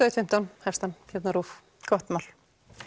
einn fimmtán hefst hann hérna á RÚV gott mál